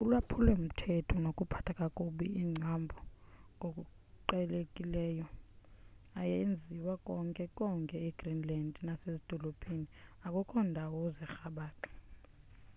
ulwaphulo-mthetho nokuphatha kakubi iimbacu ngokuqhelekileyo ayaziwa konke konke e greenland nasezidolophini akukho ndawo zirhabaxa